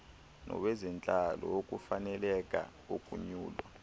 nowezentlalo wokufaneleka ukunyulwa